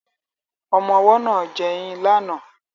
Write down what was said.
Ọmọ ọwọ́ náà ń jẹyín lánàá